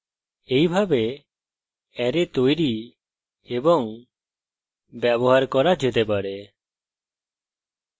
এইভাবে অ্যারে তৈরি এবং ব্যবহার arrays যেতে পারে